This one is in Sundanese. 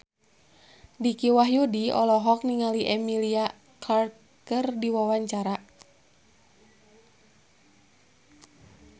Dicky Wahyudi olohok ningali Emilia Clarke keur diwawancara